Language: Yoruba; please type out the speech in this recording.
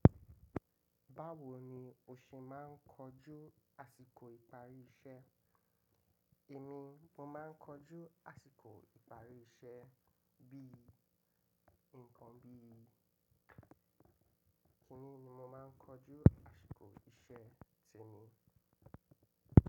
Báwo ni o ṣe máa ń kojú àsìkò ìparí iṣẹ́? Èmi, mo máa ń kọjú àsìkò ìparí iṣẹ́ bí i nǹkan bí i. Kí ní ní mo máa ń kọjú àsìkò iṣẹ́ ti mi?